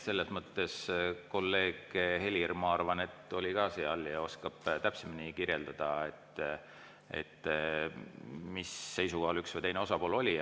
Kolleeg Helir, ma arvan, oli ka seal ja oskab täpsemini kirjeldada, mis seisukohal üks või teine osapool oli.